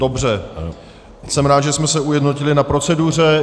Dobře, jsem rád, že jsme se ujednotili na proceduře.